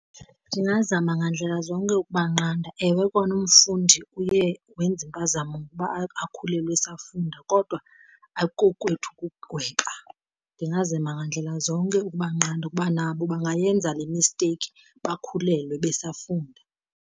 Ndingazama ngandlela zonke ukubanqanda. Ewe kona umfundi uye wenza impazamo ngokuba akhulelwe esafunda kodwa ayikokwethu ukugweba. Ndingazama ngandlela zonke ukubanqanda ukuba nabo bangayenza le misteyikhi bakhulelwe besafunda.